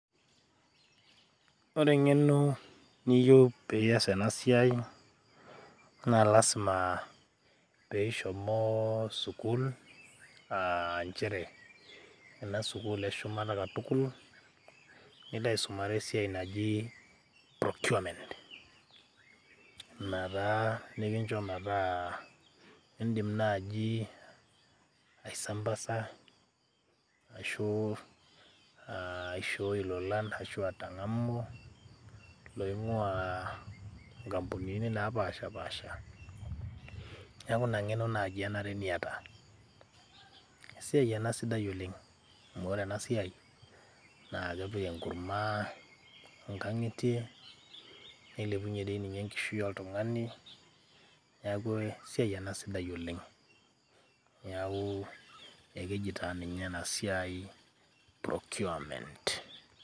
ore engeno niyieu pias ena siai naa lasima peishomo sukuul ,aa nchere enda sukul eshumata katukul , nilo aisumare esiai naji procurement .ina taa nikincho metaa indim naji aisambasa ashu aishooi ilolan ashu atangamu loingwaa nkampunini napashapasha . niaku ina ngeno naji enare niata .esiai ena sidai oleng amuore ena siai naa kepik enkurma ngatie ,nilepunyie dii ninye enkishui oltungani , neaku ena sidai oleng. niaku ekeji naa ninye ena siai procurement.